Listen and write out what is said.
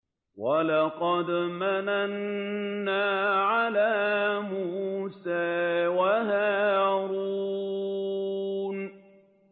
وَلَقَدْ مَنَنَّا عَلَىٰ مُوسَىٰ وَهَارُونَ